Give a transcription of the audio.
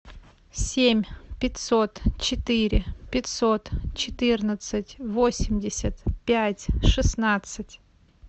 семь пятьсот четыре пятьсот четырнадцать восемьдесят пять шестнадцать